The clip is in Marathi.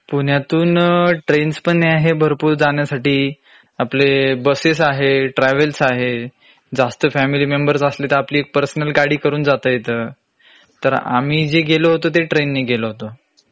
पुण्यातून ट्रेन्स पण आहे भरपूर जाण्यासाठी. आपले बसेस आहे , ट्रॅव्हल्स आहे. जास्त फॅमिली मेंबर्स असले तर आपली एक पर्सनल गाडी करून जात येत. तर आम्ही जे गेलो होतो ते ट्रेन नी गेलो होतो.